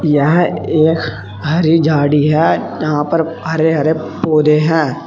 यह एक हरी झाड़ी है जहां पर हरे हरे पौधे है।